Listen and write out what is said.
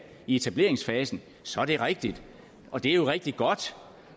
i etableringsfasen så er det rigtigt og det er jo rigtig godt